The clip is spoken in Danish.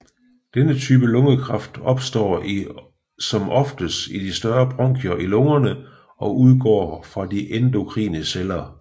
Denne type lungekræft opstår i som oftest i de større bronkier i lungerne og udgår fra endokrine celler